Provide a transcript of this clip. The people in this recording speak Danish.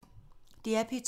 DR P2